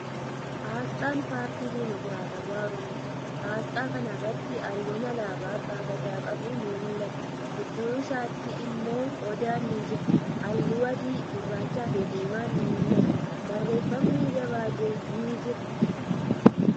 Aasxaa Paartii Dimokiraatawwaa Oromooti. Aasxaa kana irratti haallun alaabaa abbaa gadaa qabu ni mul'ata. Gidduu isaatti immoo Odaan ni jira. Haalluu adii, gurraachi fi diiman ni mul'atu. Barreeffamni gabaajee ni jira.